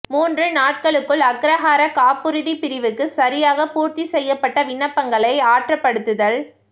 மூன்று நாட்களுக்குள் அக்ரஹார காப்புறுதி பிரிவுக்கு சரியாக பூர்த்தி செய்யப்பட்ட விண்ணப்பங்களை ஆற்றப்படுத்தல்